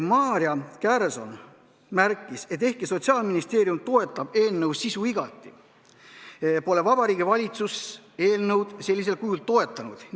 Maarja Kärson märkis, et ehkki Sotsiaalministeerium toetab eelnõu sisu igati, pole Vabariigi Valitsus eelnõu sellisel kujul toetanud.